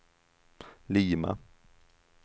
Lima